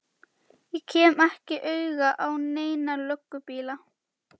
Ég kem ekki auga á neina löggubíla.